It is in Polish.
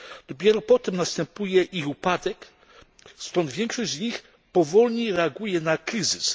Dopiero potem następuje ich upadek, stąd większość z nich powolniej reaguje na kryzys.